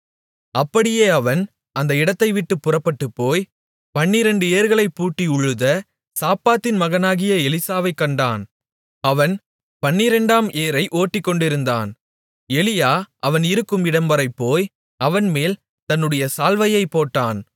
அப்படியே அவன் அந்த இடத்தைவிட்டுப் புறப்பட்டுப்போய் பன்னிரண்டு ஏர்களைப்பூட்டி உழுத சாப்பாத்தின் மகனாகிய எலிசாவைக் கண்டான் அவன் 12 ஆம் ஏரை ஓட்டிக்கொண்டிருந்தான் எலியா அவன் இருக்கும் இடம்வரை போய் அவன்மேல் தன்னுடைய சால்வையைப் போட்டான்